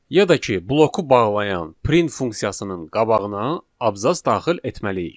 ya da ki, bloku bağlayan print funksiyasının qabağına abzas daxil etməliyik.